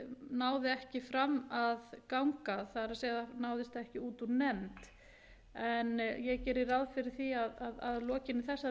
náði ekki fram að ganga það er náðist ekki út úr nefnd en ég geri ráð fyrir því að að lokinni þessari umræðu